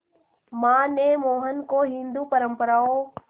मां ने मोहन को हिंदू परंपराओं